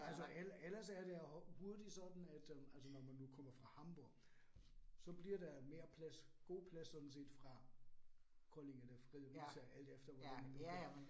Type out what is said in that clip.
Altså ellers ellers er der hurtigt sådan, at øh altså når man nu kommer fra Hamborg, så bliver der mere plads god plads sådan set fra Kolding eller Fredericia alt efter hvordan det nu kan